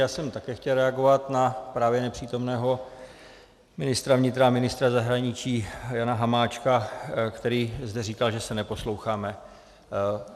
Já jsem také chtěl reagovat na právě nepřítomného ministra vnitra a ministra zahraničí Jana Hamáčka, který zde říkal, že se neposloucháme.